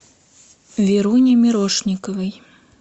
веруне мирошниковой